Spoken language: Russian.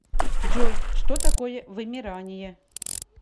джой что такое вымирание